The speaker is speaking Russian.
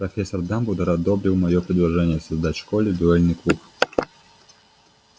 профессор дамблдор одобрил моё предложение создать в школе дуэльный клуб